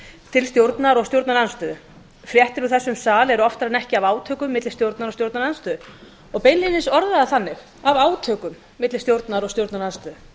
til stjórnar og stjórnarandstöðu fréttir úr þessum sal eru oftar en ekki af átökum milli stjórnar og stjórnarandstöðu og beinlínis orðaðar þannig af átökum milli stjórnar og stjórnarandstöðu